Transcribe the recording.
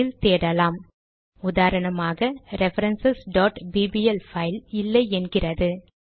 அதில் தேடலாம் - உதாரணமாக ரெஃபரன்ஸ் bbl பைல் இல்லை என்கிறது